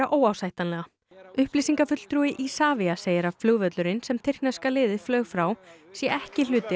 óásættanlega upplýsingafulltrúi Isavia segir að flugvöllurinn sem tyrkneska liðið flaug frá sé ekki hluti